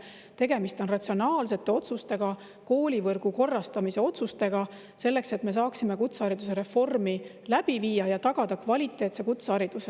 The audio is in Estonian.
Tegemist on ratsionaalsete otsustega, koolivõrgu korrastamise otsustega, selleks et me saaksime kutsehariduse reformi läbi viia ja tagada kvaliteetse kutsehariduse.